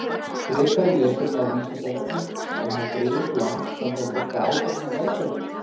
Frekara lesefni á Vísindavefnum: Ef maður greiðir upp lán, þarf þá að borga áfallnar verðbætur?